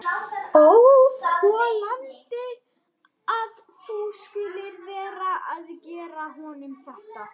Óþolandi að hún skuli vera að gera honum þetta!